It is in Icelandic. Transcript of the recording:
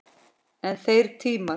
En þeir tímar!